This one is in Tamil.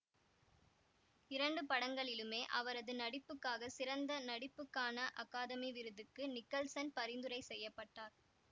இரண்டு படங்களிலுமே அவரது நடிப்புக்காக சிறந்த நடிப்புக்கான அகாதமி விருதுக்கு நிக்கல்சன் பரிந்துரை செய்ய பட்டார்